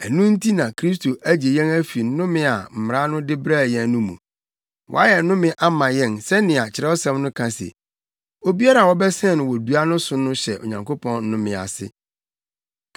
Ɛno nti na Kristo agye yɛn afi nnome a Mmara no de brɛɛ yɛn no mu. Wayɛ nnome ama yɛn sɛnea Kyerɛwsɛm no ka se, “Obiara a wɔbɛsɛn no wɔ dua so no hyɛ Onyankopɔn nnome ase.”